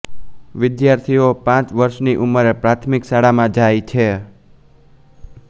વિદ્યાર્થીઓ પાંચ વર્ષની ઉંમરે પ્રાથમિક શાળામાં જાય છે